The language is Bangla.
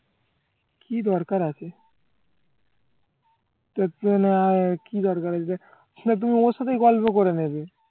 কি দরকার আছে কি দরকার আছে যে ওখানে তুমি ওর সাথেই গল্প করে নেবে